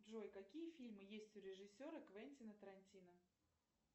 джой какие фильмы есть у режиссера квентина тарантино